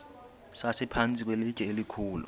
sasiphantsi kwelitye elikhulu